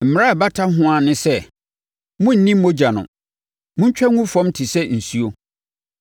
Mmara a ɛbata ho ara ne sɛ, monnni mogya no. Montwa ngu fam te sɛ nsuo.